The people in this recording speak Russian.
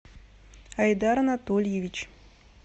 айдар анатольевич